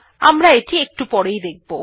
আমরা এটি একটু পরেই দেখব